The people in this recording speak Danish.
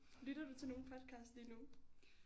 Lytter du til nogen podcasts lige nu?